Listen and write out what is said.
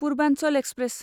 Purvanchal express